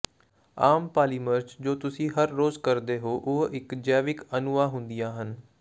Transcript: ਆਮ polymers ਜੋ ਤੁਸੀਂ ਹਰ ਰੋਜ਼ ਕਰਦੇ ਹੋ ਉਹ ਜੈਵਿਕ ਅਣੂਆਂ ਹੁੰਦੀਆਂ ਹਨ